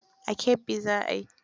A Kebbi za a yi.